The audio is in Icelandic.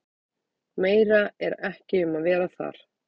Meira er ekki um að vera þar.